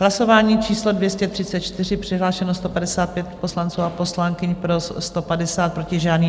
Hlasování číslo 234, přihlášeno 155 poslanců a poslankyň, pro 150, proti žádný.